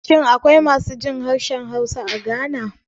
Shin akwai masu jin harshen Hausa a Ghana?